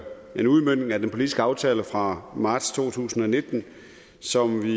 en udmøntning af den politiske aftale fra marts to tusind og nitten som vi